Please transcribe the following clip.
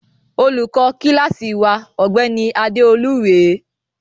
Olùkọ kíláásì wa, ọ̀gbẹ́ni Adéolú rèé.